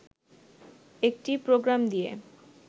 একটি প্রোগাম দিয়ে